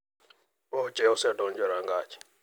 Oche osedonjo e rangach.